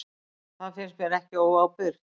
Það finnst mér ekki óábyrgt.